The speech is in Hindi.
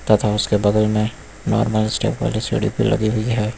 तथा उसके बगल में नॉर्मल स्टेप वाली सीढ़ी भी लगी हुई है।